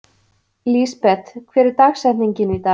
Lísebet, hver er dagsetningin í dag?